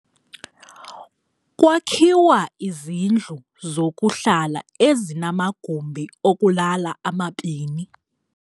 Kwakhiwa izindlu zokuhla ezinamagumbi okulala amabini.